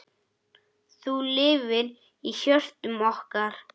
Þú lifir í hjörtum okkar.